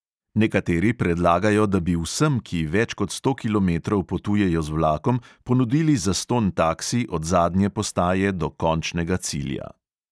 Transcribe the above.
Nekateri predlagajo, da bi vsem, ki več kot sto kilometrov potujejo z vlakom, ponudili zastonj taksi od zadnje postaje do končnega cilja.